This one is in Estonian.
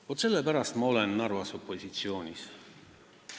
Vaat sellepärast ma olen Narvas opositsioonis.